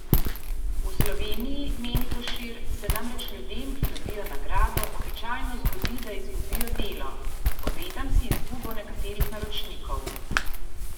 V Sloveniji, meni Košir, se namreč ljudem, ki dobijo nagrado, običajno zgodi, da izgubijo delo: "Obetam si izgubo nekaterih naročnikov.